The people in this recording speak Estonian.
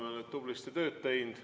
Me oleme tublisti tööd teinud.